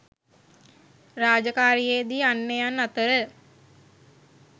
රාජකාරියේ දී අන්‍යයන් අතර